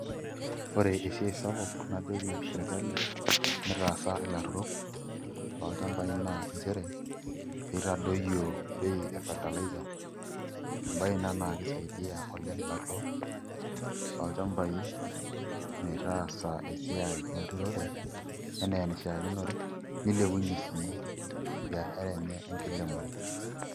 Ore eiai sapuk najoki sirkali mitaasa ilaturrok lolchambai naa nchere pee itadoyio bei e fertiliser embaye ina naa kisaidia oleng' ilaturrok lolchamabai metaasa esiai enturore enaa enishiakinore nilepunyie sii biashara enye enkilemore.